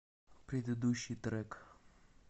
предыдущий трек